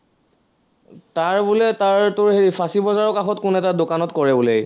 তাৰ বোলে তাৰ তোৰ হেৰি ফাঁচী বজাৰৰ কাষত কোনো এটা দোকানত কৰে বোলে সি